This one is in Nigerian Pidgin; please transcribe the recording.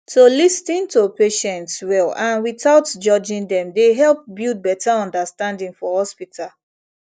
to lis ten to patients well and without judging dem dey help build better understanding for hospital